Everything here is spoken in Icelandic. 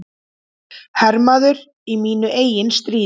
Hermaður í mínu eigin stríði.